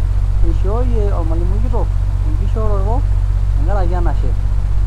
Eishooi olmalimui kitok ekishooro tenkaraki enashe.